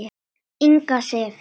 Inga Sif.